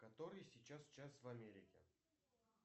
который сейчас час в америке